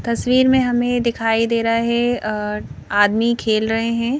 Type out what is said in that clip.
तस्वीर में हमें दिखाई दे रहा है आदमी खेल रहे हैं।